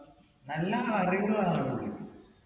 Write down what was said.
നല്ല അറിവുള്ള ആളാണ് പുള്ളി.